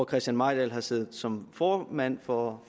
christian mejdahl har siddet som formand for